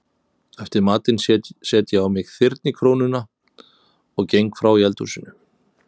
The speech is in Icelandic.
Eftir matinn set ég á mig þyrnikórónuna og geng frá í eldhúsinu.